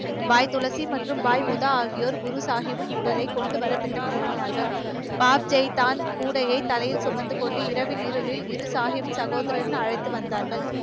பாய் துளசி மற்றும் பாய் ஊதா ஆகியோர் குரு சாகிப்பின் உடலை கொண்டு வர திட்டம் தீட்டினார்கள். கூடையை தலையில் சுமந்து கொண்டு இரவின் இருளில் இரு சாகிம் சகோதரர்கள் அழைத்து வந்தார்கள்.